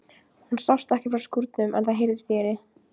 Hún sást ekki frá skúrnum en það heyrðist í henni.